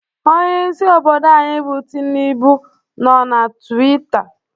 Onyeisi obodo anyị bụ Tinubu nọ na Twita